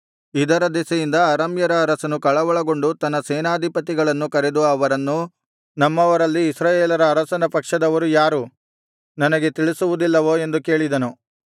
ಇದರ ದೆಸೆಯಿಂದ ಅರಾಮ್ಯರ ಅರಸನು ಕಳವಳಗೊಂಡು ತನ್ನ ಸೇನಾಧಿಪತಿಗಳನ್ನು ಕರೆದು ಅವರನ್ನು ನಮ್ಮವರಲ್ಲಿ ಇಸ್ರಾಯೇಲರ ಅರಸನ ಪಕ್ಷದವರು ಯಾರು ನನಗೆ ತಿಳಿಸುವುದಿಲ್ಲವೋ ಎಂದು ಕೇಳಿದನು